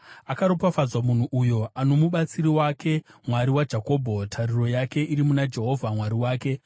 Akaropafadzwa munhu uyo ano mubatsiri wake Mwari waJakobho, tariro yake iri muna Jehovha Mwari wake,